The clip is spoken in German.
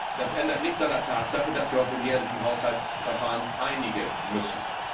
Das ändert nichts an der Tatsache, dass wir uns im jährlichen Haushaltsverfahren einigen müssen.